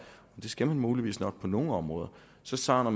og det skal man muligvis nok på nogle områder så savner